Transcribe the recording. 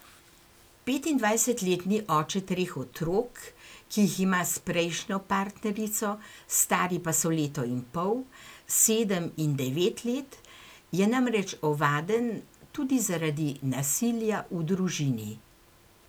Petindvajsetletni oče treh otrok, ki jih ima s prejšnjo partnerico, stari pa so leto in pol, sedem in devet let, je namreč ovaden tudi zaradi nasilja v družini.